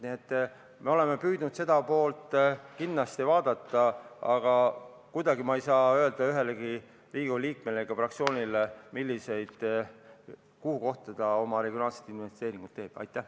Nii et me oleme püüdnud seda poolt kindlasti vaadata, aga kuidagi ei saa ma öelda ühelegi Riigikogu liikmele ega fraktsioonile, kus kohas ta oma regionaalseid investeeringuid tegema peab.